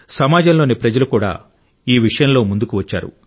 సమాజంలోని ప్రజలు కూడా ఈ విషయంలో ముందుకు వచ్చారు